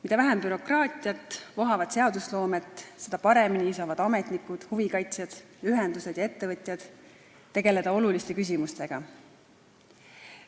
Mida vähem bürokraatiat ja vohavat seadusloomet, seda paremini saavad ametnikud, huvikaitsjad, ühendused ja ettevõtjad tegeleda oluliste küsimustega.